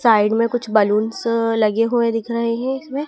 side में कुछ balloons लगे हुए दिख रहे हैं इसमें--